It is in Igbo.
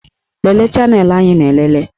Lelee chanelụ anyị na-elele